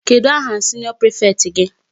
Kedụ aha senior prefect gị?